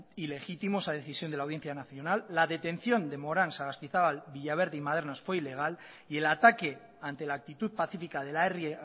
ilegítimo esa decisión de la audiencia nacional la detención de moran sagastizabal villaverde y madernaz fue ilegal y el ataque ante la actitud pacífica de la herri